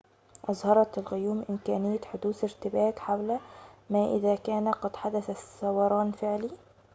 أظهرت الغيوم إمكانية حدوث ارتباك حول ما إذا كان قد حدث ثوران فعلي